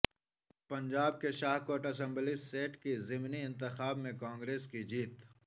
پنجاب کی Shah Kot assembly seat کے ضمنی انتخاب میں کانگریس کی جیت